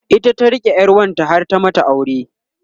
ita ta rike ƴar wanta har ta mata aure